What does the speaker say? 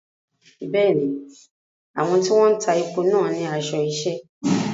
Bẹ́ẹ̀ni, àwọn tí wọ́n ń ta epo náà ní aṣọ iṣẹ́.